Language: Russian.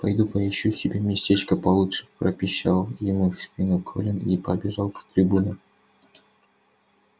пойду поищу себе местечко получше пропищал ему в спину колин и побежал к трибуне